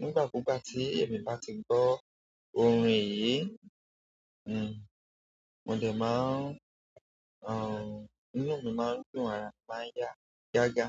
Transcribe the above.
nígbà kúgbà tí ẹmi bá ti gbọ́ orín yìí, hmm, mo dẹ̀ máa ń, àn, inú mi máa ń dùn ara mi máa ń yá gágá.